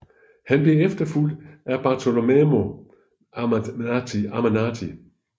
Han blev efterfulgt af Bartolommeo Ammanati